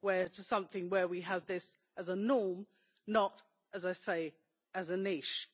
to something where we have this as a norm, not, as I say, as a niche.